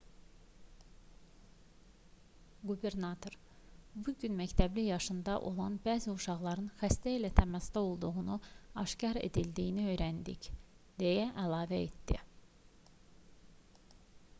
qubernator bu gün məktəbli yaşında olan bəzi uşaqların xəstə ilə təmasda olduğunun aşkar edildiyini öyrəndik deyə əlavə etdi